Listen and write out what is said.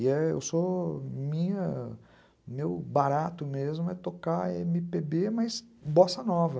E eu sou minha, meu barato mesmo é tocar eme pê bê, mas bossa nova.